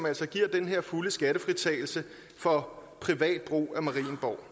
altså giver den her fulde skattefritagelse for privat brug af marienborg